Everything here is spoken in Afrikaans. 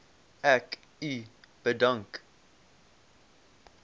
ek u bedank